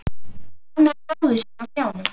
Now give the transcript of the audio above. Hann með bróður sinn á hnjánum.